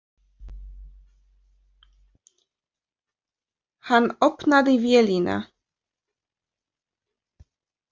Hann opnaði vélina.